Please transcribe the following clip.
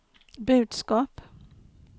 budskap